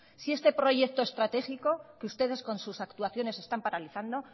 si este proyecto estratégico que ustedes con sus actuaciones están paralizando